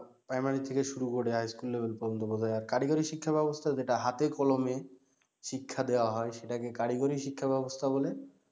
primary থেকে শুরু করে high school level পর্যন্ত বোঝার আর কারিগরি শিক্ষা ব্যাবস্থা যেটা হাতে কলমে শিক্ষা দেয়া হয় সেটাকে কারিগরি শিক্ষা ব্যাবস্থা বলে